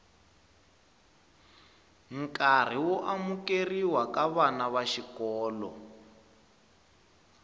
nkarhi wo amukerhiwa ka vana vaxikolo